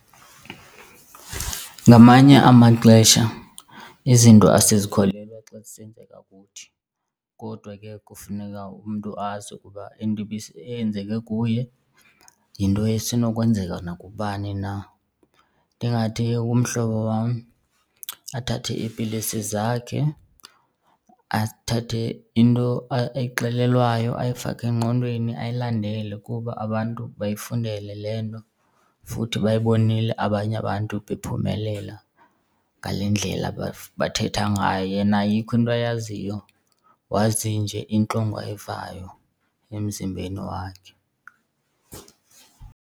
Ngamanye amaxesha izinto asizakholelwa xa zisenzeka kuthi kodwa ke kufuneka umntu azi ukuba into eyenzeke kuye yinto esenokwenzeka nakubani na. Ndingathi ke kumhlobo wam athathe iipilisi zakhe, azithathe, into ayixelelwayo ayifake engqondweni ayilandele kuba abantu bayifundele le nto, futhi bayibonile abanye abantu bephumelela ngale ndlela bathetha ngayo. Yena ayikho into ayaziyo, wazi nje intlungu ayivayo emzimbeni wakhe.